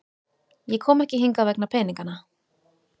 Ég kom ekki hingað vegna peningana.